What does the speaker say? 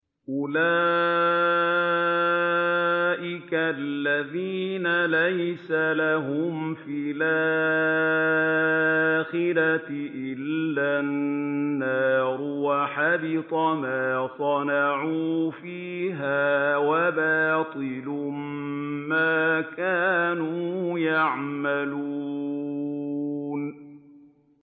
أُولَٰئِكَ الَّذِينَ لَيْسَ لَهُمْ فِي الْآخِرَةِ إِلَّا النَّارُ ۖ وَحَبِطَ مَا صَنَعُوا فِيهَا وَبَاطِلٌ مَّا كَانُوا يَعْمَلُونَ